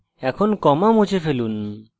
এখন comma মুছে ফেলুন